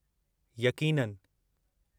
यक़ीननि!